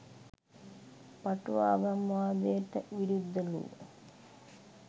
පටු ආගම්වාදයට විරුද්ධ ලූ